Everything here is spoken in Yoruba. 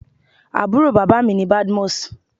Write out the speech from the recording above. Àbúrò bàbá mi ni Badmus.